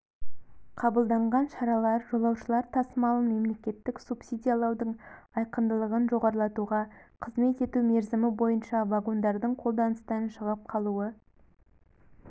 қабылданған шаралар жолаушылар тасымалын мемлекеттік субсидиялаудың айқындылығын жоғарлатуға қызмет ету мерзімі бойынша вагондардың қолданыстан шығып қалуы